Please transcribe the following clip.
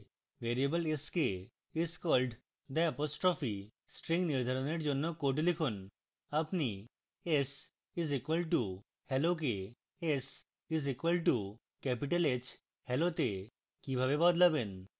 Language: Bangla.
variable s code is called the apostrophe string নির্ধারণের জন্য code লিখুন